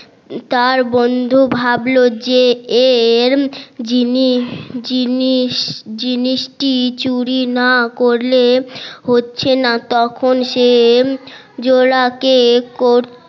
তার বন্ধু ভাবলো যে এর জিনিস জিনিস জিনিসটি চুরি না করলে হচ্ছে না তখন সে জোলা কে কর